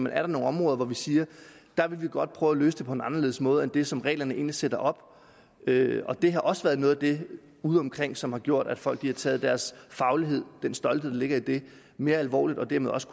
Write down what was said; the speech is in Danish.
er der nogle områder hvor vi siger at vi godt vil prøve at løse det på en anderledes måde end den som reglerne egentlig sætter op det har også været noget af det udeomkring som har gjort at folk har taget deres faglighed og den stolthed der ligger i det mere alvorligt og dermed også